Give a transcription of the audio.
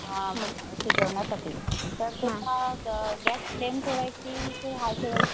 अवकाश झालेल्या काळाची नुकसान भरपाई दवाखान्याचा खर्च यामध्ये नैसर्गिक आपत्ती तसेच पूर भूकंप सुनामी तसेच दंगल या